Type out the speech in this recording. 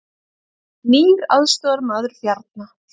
Nýr aðstoðarmaður Bjarna